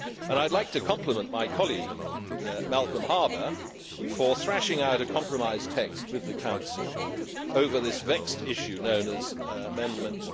I would like to compliment my colleague, Malcolm Harbour, for thrashing out a compromise text with the Council over this vexed issue known as Amendment